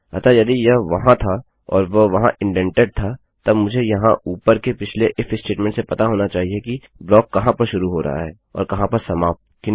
अतः यदि यह वहाँ था और वह वहाँ इन्डेन्टेड था तब मुझे यहाँ ऊपर के पिछले इफ statementस्टेटमेंटसे पता होना चाहिए कि ब्लॉक कहाँ पर शुरू हो रहा है और कहाँ पर समाप्त